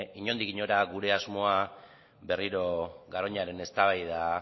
inondik inora gure asmoa berriro garoñaren eztabaida